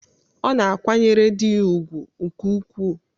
Ọ na-akwanyere di ya ùgwù nke ukwuu.